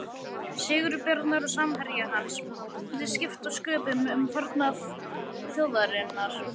Sigurbjarnar og samherja hans mundi skipta sköpum um farnað þjóðarinnar.